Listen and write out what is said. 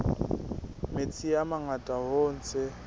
metsi a mangata hoo tse